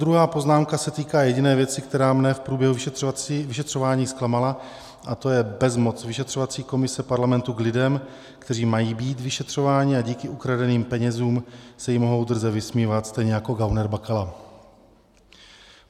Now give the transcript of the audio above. Druhá poznámka se týká jediné věci, která mne v průběhu vyšetřování zklamala, a to je bezmoc vyšetřovací komise parlamentu k lidem, kteří mají být vyšetřováni, a díky ukradeným penězům se jim mohou drze vysmívat, stejně jako gauner Bakala.